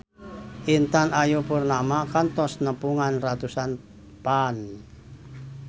Intan Ayu Purnama kantos nepungan ratusan fans